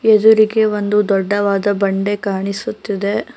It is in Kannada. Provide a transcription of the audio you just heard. ಎದುರಿಗೆ ಒಂದು ದೊಡ್ಡವಾದ ಬಂಡೆ ಕಾಣಿಸುತ್ತಿದೆ.